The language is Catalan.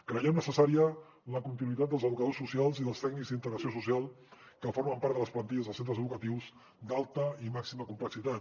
creiem necessària la continuïtat dels educadors socials i dels tècnics d’integració social que formen part de les plantilles dels centres educatius d’alta i màxima complexitat